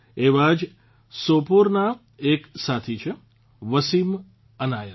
એવા જ સોપોરના એક સાથી છે વસીમ અનાયત